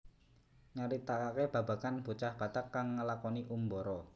Nyaritakaké babagan bocah Batak kang ngelakoni umbara